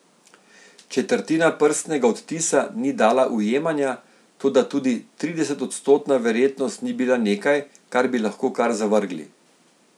Četrtina prstnega odtisa ni dala ujemanja, toda tudi tridesetodstotna verjetnost ni bila nekaj, kar bi lahko kar zavrgli.